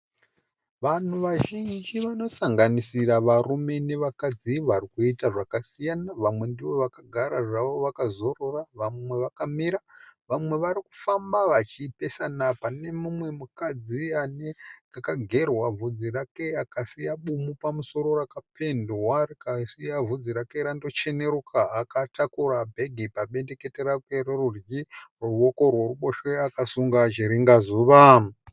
Vanhu vazhinji vanosanganisira varume nevakadzi, varikuita zvakasiyana. Vamwe ndovakagara zvavo vakazorora . Vamwe vakamira vamwe varikufamba vachipesana. Pane mumwe mukadzi akagerwa vhudzi rake akasiya bumu pamusoro rakapendwa rikasiya vhudzi rake randocheneruka akatakura bhegi pabendekete rake rerudyi ruoka rweruboshwe akasunga chiringazuva.